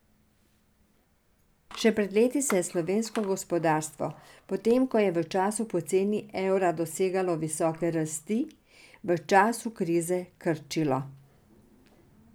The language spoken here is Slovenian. Še pred leti se je slovensko gospodarstvo, potem ko je v času poceni evra dosegalo visoke rasti, v času krize krčilo.